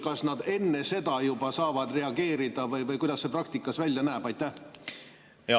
Kas nad enne seda juba saavad reageerida või kuidas see praktikas välja näeb?